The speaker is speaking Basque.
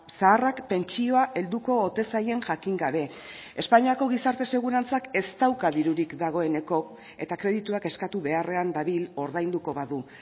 zaharrak pentsioa helduko ote zaien jakin gabe espainiako gizarte segurantzak ez dauka dirurik dagoeneko eta kredituak eskatu beharrean dabil ordainduko badu